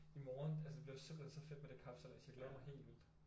I morgen altså det bliver simpelthen så fedt med den kapsejlads jeg glæder mig helt vildt